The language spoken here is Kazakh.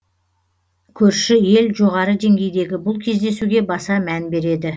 көрші ел жоғары деңгейдегі бұл кездесуге баса мән береді